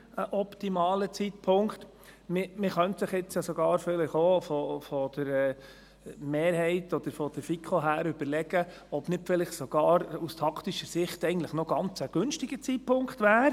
Man könnte sich jetzt natürlich vonseiten der Mehrheit oder der FiKo sogar überlegen, ob es nicht vielleicht aus taktischer Sicht sogar ein ganz günstiger Zeitpunkt sei.